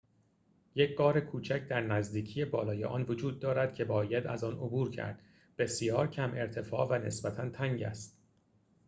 یک غار کوچک در نزدیکی بالای آن وجود دارد که باید از آن عبور کرد بسیار کم ارتفاع و نسبتا تنگ است